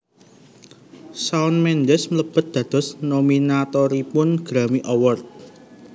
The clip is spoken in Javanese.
Shawn Mendes mlebet dados nominatoripun Grammy Awards